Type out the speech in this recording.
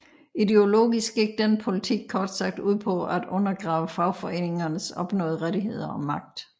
Ideologisk gik denne politik kort sagt ud på at undergrave fagforeningernes opnåede rettigheder og magt